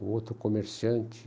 O outro, comerciante.